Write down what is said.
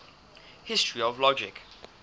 history of logic